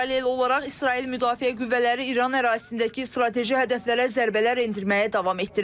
Paralel olaraq İsrail Müdafiə qüvvələri İran ərazisindəki strateji hədəflərə zərbələr endirməyə davam etdirir.